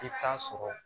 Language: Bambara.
I t'a sɔrɔ